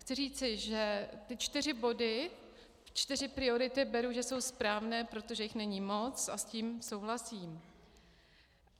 Chci říci, že ty čtyři body, čtyři priority beru, že jsou správné, protože jich není moc a s tím souhlasím.